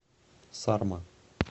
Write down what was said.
сарма